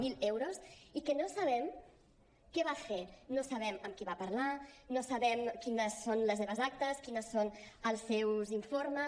zero euros i que no sabem què va fer no sabem amb qui va parlar no sabem quines són les seves actes quins són els seus informes